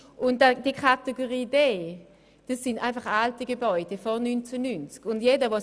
Bei der Kategorie D handelt es sich um alte Gebäude, die vor dem Jahr 1990 erbaut worden sind.